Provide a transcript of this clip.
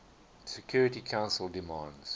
security council demands